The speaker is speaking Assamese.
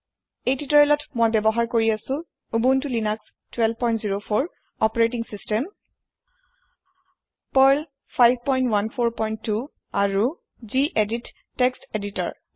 এই তিওতৰিয়েলত মই ব্যৱহাৰ কৰি আছু উবুনটো লিনাস1204 অপাৰেতিং চিচতেম পাৰ্ল 5142 আৰু গেদিত টেক্সট এদিএদিতৰ